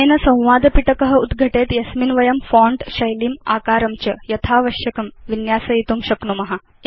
अनेन संवाद पिटकम् उद्घटेत् यस्मिन् वयं फोंट शैलीं आकारं च यथावश्यकं विन्यासयितुं शक्नुम